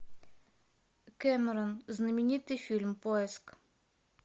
кэмерон знаменитый фильм поиск